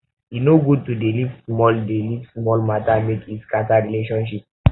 e no good to dey leave small dey leave small mata make e scatter relationship